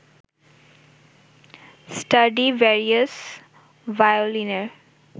Stradivarius ভায়োলিনের